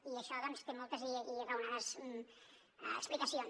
i això doncs té moltes i raonades explicacions